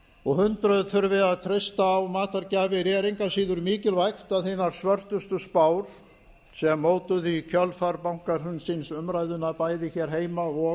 og hundruð þurfi að treysta á matargjafir er engu að síður mikilvægt að hinar svörtustu spár sem mótuðu í kjölfar bankahrunsins umræðuna bæði hér heima og